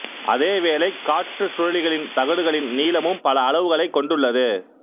அதே வேளை காற்று சுழலிகளின் தகடுகளின் நீளமும் பல அளவுகளைக் கொண்டுள்ளது